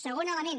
segon element